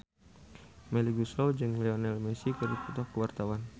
Melly Goeslaw jeung Lionel Messi keur dipoto ku wartawan